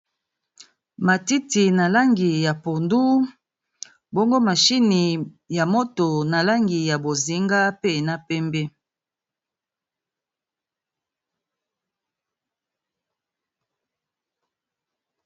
Matiti na langi ya pondu, bongo machini ya moto na langi ya bozinga pe na pembe.